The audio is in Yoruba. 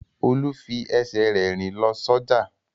Olú fi ẹsẹ̀ rẹ̀ rìn lọ sọ́jà.